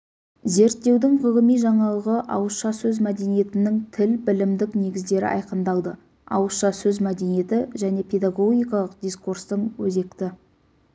зерттеудің ғылыми жаңалығы ауызша сөз мәдениетінің тіл білімдік негіздері айқындалды ауызша сөз мәдениеті және педагогикалық дискурстың өзекті